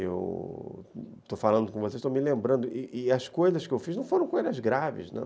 Eu estou falando com vocês, estou me lembrando, e as coisas que eu fiz não foram coisas graves, não.